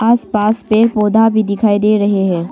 आस पास पेड़ पौधा भी दिखाई दे रहे हैं।